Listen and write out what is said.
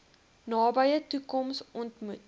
nabye toekoms ontmoet